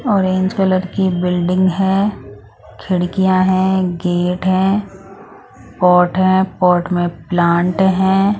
Orange colour की building है खिड़कियां हैं गेट हैं पॉट है पॉट में प्लांट हैं।